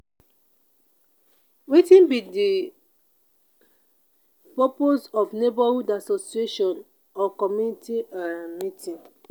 wetin be di purpose of neighborhood association or community um meeting?